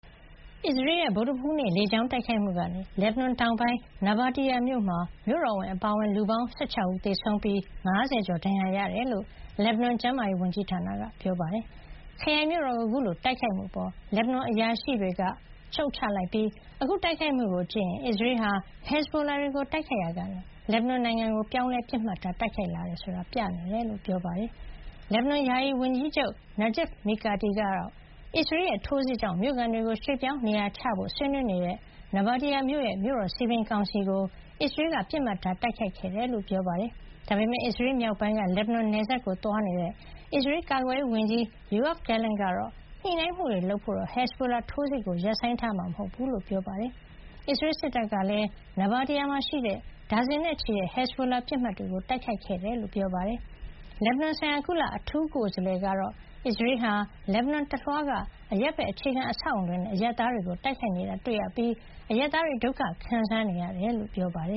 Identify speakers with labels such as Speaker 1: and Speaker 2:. Speaker 1: အစ္စရေးရဲ့ ဗုဒ္ဓဟူးနေ့ လေကြောင်းတိုက်ခိုက်မှုကနေ လက်ဘနွန်တောင်ပိုင်း နာဘာတီယာမြို့မှာ မြို့တော်ဝန်အပါအဝင် လူပေါင်း ၁၆ ဦး သေဆုံးပြီး ၅၀ ကျော် ဒဏ်ရာရ ခဲ့ရတယ်လို့ လက်ဘနွန် ကျန်းမာရေး ဝန်ကြီးဌာနက ပြောပါတယ်။ ခရိုင်မြို့တော်ကို အခုလိုတိုက်ခိုက်မှုအပေါ် လက်ဘနွန်အရာရှိတွေက ရှုတ်ချလိုက်ပြီး အခုတိုက်ခိုက်မှု ကို ကြည့်ရင် အစ္စရေးဟာ ဟက်ဇ်ဘိုလာတွေကို တိုက်ခိုက်ရာကနေ လက်ဘနွန်နိုင်ငံကို ပြောင်းလဲ ပစ်မှတ်ထား တိုက်ခိုက်လာတယ်ဆိုတာ ပြနေတယ်လို့ ပြောပါတယ်။ လက်ဘနွန် ယာယီဝန်ကြီးချုပ် Najib Mikati ကတော့ အစ္စရေးရဲ့ ထိုးစစ်ကြောင့် မြို့ခံတွေကို ရွှေ့ပြောင်း နေရာချထားဖို့ ဆွေးနွေးနေတဲ့ နာဘာတီယာမြို့ရဲ့ မြို့တော်စည်ပင်ကောင်စီကို အစ္စရေးက ပစ်မှတ်ထား တိုက်ခိုက်ခဲ့တယ်လို့ ပြောပါတယ်။ ဒါပေမယ့် အစ္စရေးမြောက်ပိုင်းက လက်ဘနွန်နယ်စပ်ကို သွားရောက်နေတဲ့ အစ္စရေး ကာကွယ်ရေး ဝန်ကြီး Yoav Gallant ကတော့ ညှိနှိုင်းမှုတွေလုပ်ဖို့ ဟက်ဇ်ဘိုလာထိုးစစ်ကို ရပ်ဆိုင်းထားမှာ မဟုတ်ဘူးလို့ ပြောပါတယ်။ အစ္စရေးစစ်တပ်ကလည်း နာဘာတီယာမှာ ရှိတဲ့ ဒါဇင်နဲ့ချီတဲ့ ဟက်ဇ်ဘိုလာပစ်မှတ်တွေကို တိုက်ခိုက်ခဲ့တယ်လို့ ပြောပါတယ်။ လက်ဘနွန်ဆိုင်ရာ ကုလ အထူးကိုယ်စားလှယ် Jeanine Hennis-Plasschaert ကတော့ အစ္စရေးဟာ လက်ဘနွန်တလွှားက အရပ်ဘက်အခြေခံ အဆောက်အဦးတွေနဲ့ အရပ်သားတွေကို တိုက်ခိုက်နေတာ တွေ့ရပြီး အရပ်သားတွေ ဒုက္ခခံစားနေရကြောင်း ပြောပါတယ